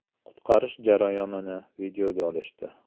Qutqarish jarayonini videoga olishdi.